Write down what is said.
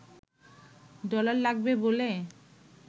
dollar লাগবে বলে